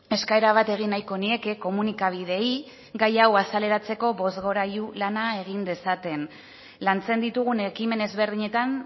eskaera bat egin nahiko nieke komunikabideei gai hau azaleratzeko bozgorailu lana egin dezaten lantzen ditugun ekimen ezberdinetan